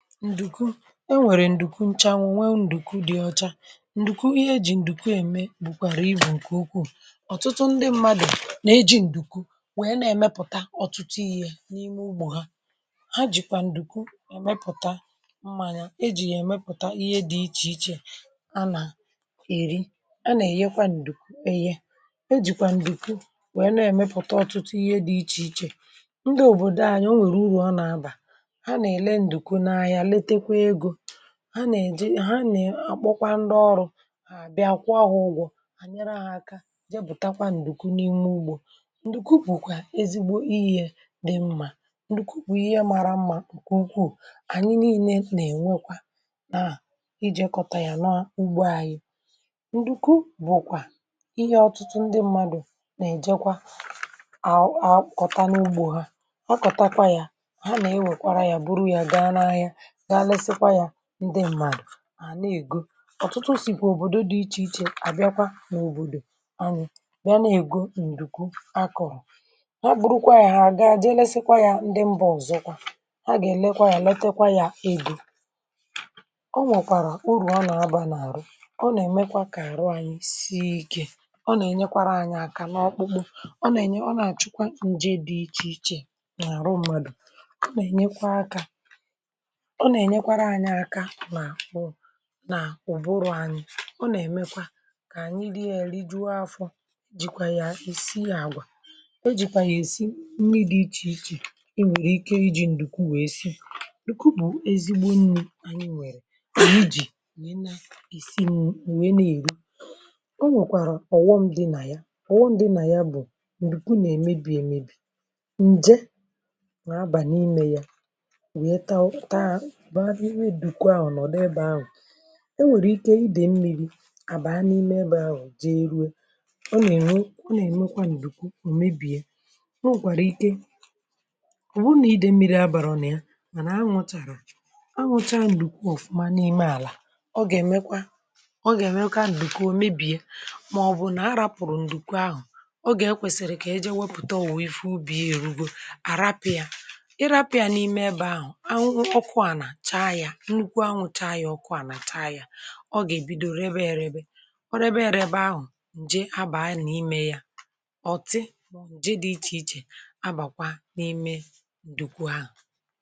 Ǹdùku e nwèrè ǹdùku nchànwụ̀, nwe ǹdùku dị ọcha, ǹdùku ihe ejì ǹdùku ème, bụ̀kwàrà ibù nke ukwu. um Ọ̀tụtụ ndị mmadụ̀ nà-ejikwa ǹdùku nwèe na-èmepụ̀ta ọ̀tụtụ ihe n’ime ugbò ha. Ha jìkwà ǹdùku èmepụ̀ta mmanya, ejì nà-èmepụ̀ta ihe dị iche iche, a nà-èri, a nà-èyekwa ǹdùku… E jìkwà ǹdùku nwèe na-èmepụ̀ta ọtụtụ ihe dị iche iche. Ndị òbòdo anyị o nwèrè uru ọ nà-abà. Ha nà-èje, ha nà-akpọkwa ndị ọrụ hà, bịa kwa ha ụgwọ, ànyere ahụ̀ aka, jepụ̀takwa ǹdùku n’ime ugbò. Ǹdùku bụ̀kwà ezigbo ihe dị mma um ndu kpù ihe mara mma, ǹkù ukwu. Ànyị niile nà-ènwekwa na ijikọ ya, nọọ n’ugbò anyị. Ǹdùku bụ̀kwà ihe ọtụtụ ndị mmadụ̀ nà-èje àhụ, àkọ̀tà n’ugbò ha, akọ̀takwa ya, ga lesikwa ya. Ndị mmadụ̀ à na-ègo, ọ̀tụtụ, sìkwà òbòdo dị iche iche, àbịakwa n’òbòdò anyị bịa na-ègo ǹdùku akọ̀rọ̀. A bụrụkwa ya, hà àga je lesikwa ya. Ndị mba..(paue) ọzọ ha gà-ènekwa ya, letekwa ya ego. um Ọ nwọ̀kwàrà uru ọ nọ̀ abà n’àrụ; ọ nà-èmekwa ka àrụ anyị si ike. Ọ nà-ènyekwara anyị aka n’ọkpụkpụ, ọ nà-ènye, ọ nà-àchụkwa ǹje dị iche iche n’àrụ mmadụ. Ọ nà-ènyekwa aka nà ùbụrụ̇ anyị, ọ nà-èmekwa ka ànyị dị elu. I dịwọ afọ, jìkwà ya, ì si àgwà. E jìkwà ya èsi mmiri dị iche iche. Ị nwèrè ike iji ǹdùku wèe si n’ùkù, bụ̀ ezigbo nnu̇. Ànyị nwèrè ujì um nà ị nà-èsi, nwèe na-èri. Ọ nwèkwàrọ̀ ọ̀wọm dị nà ya; ọ̀wọm dị nà ya bụ̀ ǹdùku nà-èmébì, èmébì ǹje nà-abà n’imé ya… Enwèrè ike idè mmiri à bàa n’ime ebe ahụ̀, jee ruo, ọ nà-èrè, ọ nà-èmekwa n’ǹdùku ò mèbìe. Ọ nwèkwàrà ike, ọ̀ bụrụ nà idè mmiri abàrọ̀rọ̀ ya. Mànà, um anwụ̀chàrà anwụ̀cha, ǹdùku ọ̀fụ̀ma n’ime àlà, ọ gà-èmekwa, ọ gà-èmekwa n’ǹdùku ò mèbìe, màọbụ̀ nà a rápụ̀rụ̀ ǹdùku ahụ̀. Ọ gà-akwèsìrì kà e jì, e wepùta òwo, um ife, ubìa èrugò, àrapịa, ọ gà-èbido ebe ahụ̀, ǹje abà n’imé ya. Ọ̀tị, ọ̀jị dị iche iche abàkwa n’ime ǹdùkwù ahụ̀.